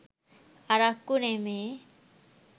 අරක්කු නෙමේ.